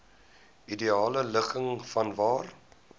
ideale ligging vanwaar